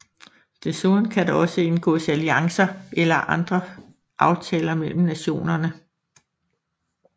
Desuden kan der også indgåes alliancer eller andre aftaler mellem nationerne